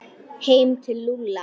Heim til Lúlla!